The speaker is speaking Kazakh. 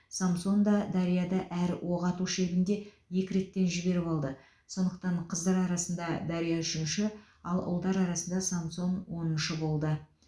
самсон да дарья да әр оқ ату шебінде екі реттен жіберіп алды сондықтан қыздар арасында дарья үшінші ал ұлдар арасында самсон оныншы болды